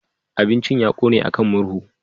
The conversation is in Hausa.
Abincin ya ƙone a kan murhu.